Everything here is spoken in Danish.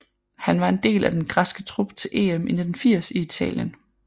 Han var en del af den græske trup til EM i 1980 i Italien